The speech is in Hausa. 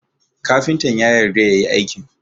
Kafintan ya yarda yayi aikin